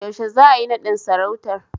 Yaushe za'ayi naɗin sarautar?